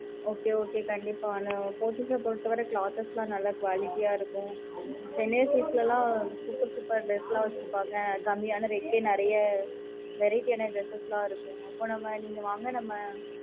okay okay கண்டிப்பா Pothys அ பொறுத்த வர clothes லா நல்லா quality ஆ இருக்கும் chennai silks ல லாம் நல்ல super super dress லா வச்சிருப்பாங்க கம்மியான rate லேயே நல்ல variety ஆனா dress லா இருக்கும் நமக்கு எது புடிச்சிருக்கோ அங்க போயி வாங்கிக்கலாம்